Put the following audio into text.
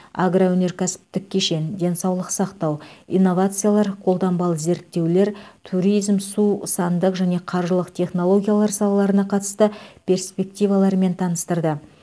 агроөнеркәсіптік кешен денсаулық сақтау инновациялар қолданбалы зерттеулер туризм су сандық және қаржылық технологиялар салаларына қатысты перспективаларымен таныстырды